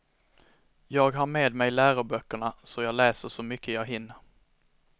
Jag har med mig läroböckerna så jag läser så mycket jag hinner.